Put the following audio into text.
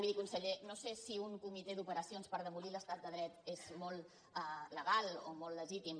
miri conseller no sé si un comitè d’operacions per demolir l’estat de dret és molt legal o molt legítim